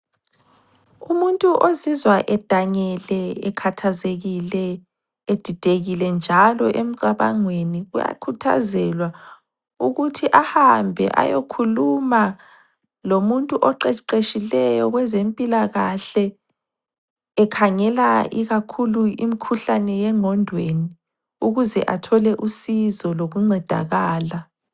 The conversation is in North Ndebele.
Umuntu ozizwa edangele, ekhathazekile, edidekile njalo emcabangweni uyakhuthazelwa ukuthi ahambe ayekhuluma lomuntu oqeqeshileyo kwezempilakahle ekhangela ikakhulu imkhuhlane yengqondweni ukuze athole usizo lokuncedakala.